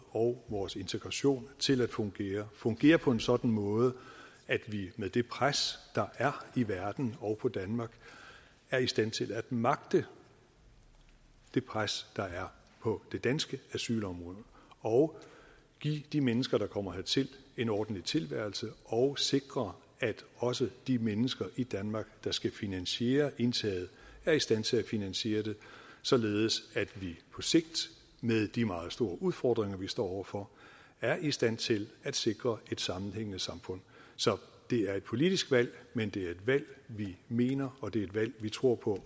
og vores integration til at fungere fungere på en sådan måde at vi med det pres der er i verden og på danmark er i stand til at magte det pres der er på det danske asylområde og give de mennesker der kommer hertil en ordentlig tilværelse og sikre at også de mennesker i danmark der skal finansiere indtaget er i stand til at finansiere det således at vi på sigt med de meget store udfordringer vi står over for er i stand til at sikre et sammenhængende samfund så det er et politisk valg men det er et valg vi mener og det er et valg vi tror på